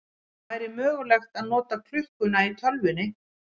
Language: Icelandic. Það væri mögulegt að nota klukkuna í tölvunni.